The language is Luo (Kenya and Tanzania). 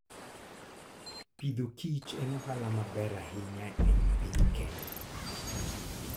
Pidho kich en ohala maber ahinya e piny Kenya.